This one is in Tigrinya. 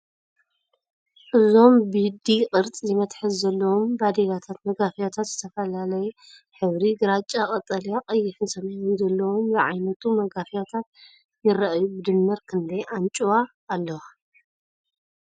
እዞም ብD-ቅርፂ መትሓዚ ዘለዎም ባዴላታት/ መጋፊያታት ዝተፈላለየ ሕብሪ (ግራጭ፡ ቀጠልያ፡ ቀይሕን ሰማያውን) ዘለዎም ዝዓይነቶ መጋፍያታት የርእዩ። ብድምር ክንደይ ኣንጭዋ ኣለዋ?